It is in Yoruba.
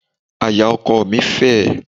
Àyà ọkọọ̀ mi fẹ̀.